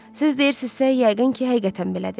Siz deyirsinizsə, yəqin ki, həqiqətən belədir.